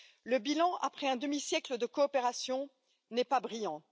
Le bilan, après un demi siècle de coopération, n'est pas brillant.